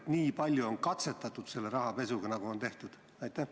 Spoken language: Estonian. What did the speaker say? Kas tõesti nii palju on katsetatud rahapesuga?